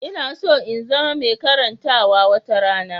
Ina so in zama mai karantawa wata rana.